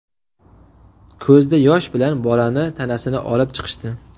Ko‘zda yosh bilan bolani tanasini olib chiqishdi.